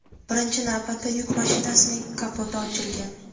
Birinchi navbatda yuk mashinasining kapoti ochilgan.